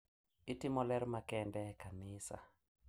Itimo ler makende e kanisa.